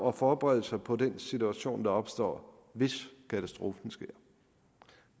at forberede sig på den situation der opstår hvis katastrofen sker